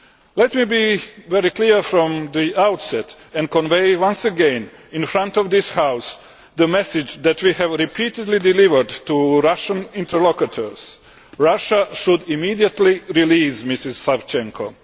Let me be very clear from the outset and convey once again, in front of this House, the message that we have repeatedly delivered to Russian interlocutors Russia should immediately release Ms Savchenko.